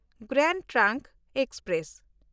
grand trunk express